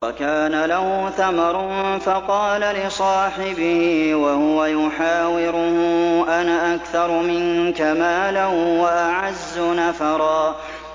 وَكَانَ لَهُ ثَمَرٌ فَقَالَ لِصَاحِبِهِ وَهُوَ يُحَاوِرُهُ أَنَا أَكْثَرُ مِنكَ مَالًا وَأَعَزُّ نَفَرًا